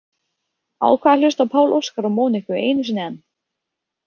Ákvað að hlusta á Pál Óskar og Moniku einu sinni enn.